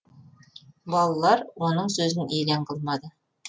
балалар оның сөзін елең қылмады